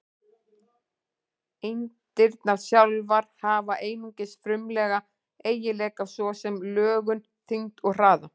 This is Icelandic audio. Eindirnar sjálfar hafa einungis frumlega eiginleika, svo sem lögun, þyngd og hraða.